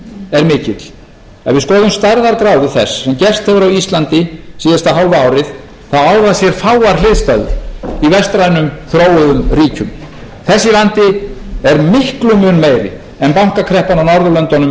er mikill ef við skoðum stærðargráðu þess sem gerst hefur á íslandi síðasta hálfa árið þá á það sér fáar hliðstæður í vestrænum þróuðum ríkjum þessi vandi er miklum mun meiri en bankakreppan á norðurlöndunum um nítján hundruð